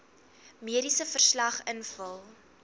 mediese verslag invul